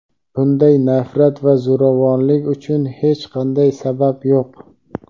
Bunday nafrat va zo‘ravonlik uchun hech qanday sabab yo‘q.